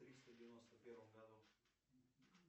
в триста девяносто первом году